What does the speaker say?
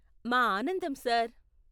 మా ఆనందం, సార్.